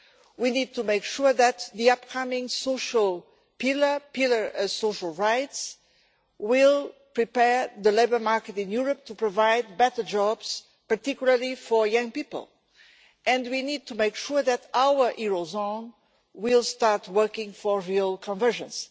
We need to make sure that the upcoming pillar of social rights will prepare the labour market in Europe to provide better jobs, particularly for young people, and we need to make sure that our eurozone will start working for real convergence.